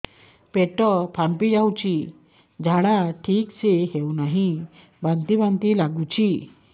ପେଟ ଫାମ୍ପି ଯାଉଛି ଝାଡା ଠିକ ସେ ହଉନାହିଁ ବାନ୍ତି ବାନ୍ତି ଲଗୁଛି